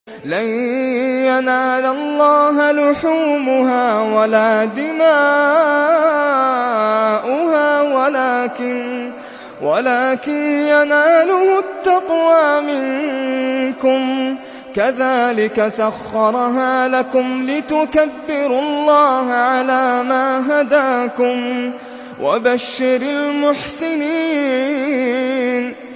لَن يَنَالَ اللَّهَ لُحُومُهَا وَلَا دِمَاؤُهَا وَلَٰكِن يَنَالُهُ التَّقْوَىٰ مِنكُمْ ۚ كَذَٰلِكَ سَخَّرَهَا لَكُمْ لِتُكَبِّرُوا اللَّهَ عَلَىٰ مَا هَدَاكُمْ ۗ وَبَشِّرِ الْمُحْسِنِينَ